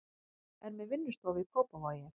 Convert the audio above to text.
Er með vinnustofu í Kópavogi.